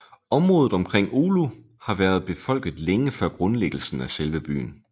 Området omkring Oulu har været befolket længe før grundlæggelsen af selve byen